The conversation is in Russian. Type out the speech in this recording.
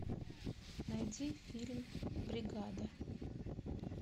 найди фильм бригада